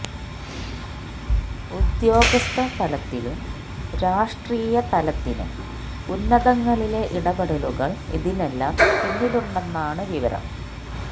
ഉദ്യോഗസ്ഥ തലത്തിലും രാഷ്ട്രീയ തലത്തിനും ഉന്നതങ്ങളിലെ ഇടപെടലുകള് ഇതിനെല്ലാം പിന്നിലുണ്ടെന്നാണ് വിവരം